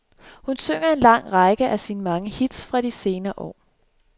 Hun synger en lang række af sine mange hits fra de senere år.